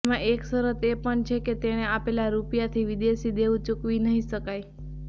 તેમાં એક શરત એ પણ છે કે તેણે આપેલા રૂપિયાથી વિદેશી દેવુ ચૂકવી નહિ શકાય